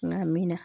Nka minna